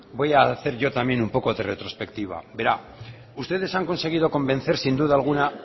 voy hacer yo también un poco de retrospectiva verá ustedes han conseguido convencer sin duda alguna